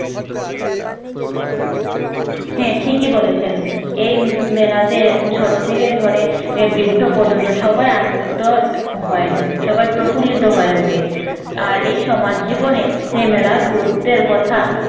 হ্যাঁ ঠিকই বলেছেন এই মেলাতে তে ছোট থেকে ধরে বৃদ্ধ পর্যন্ত সবাই আনন্দিত হয় সবাই প্রফুল্লিত হয়ে ওঠে আর এই সমাজ জীবনে মেলার গুরুত্বের কথা